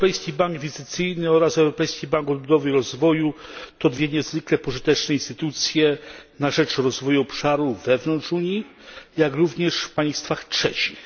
Europejski Bank Inwestycyjny oraz Europejski Bank Odbudowy i Rozwoju to dwie niezwykle pożyteczne instytucje na rzecz rozwoju obszarów wewnątrz Unii, jak również w państwach trzecich.